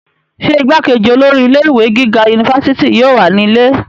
ṣé igbákejì olórí ilé ìwé gíga unifásitì yóò wà nílé?